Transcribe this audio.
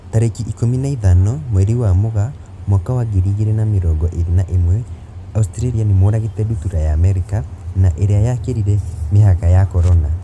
Tarĩki ikũmi na ithano mweri wa Mũgaa mwaka wa ngiri igiri na mirongo iri na imwe, Australia nĩmoragite ndutura ya Amerika na iria yakirire mihaka ya Corona